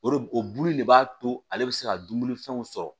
O de bo o bulu in de b'a to ale bɛ se ka dumunifɛnw sɔrɔ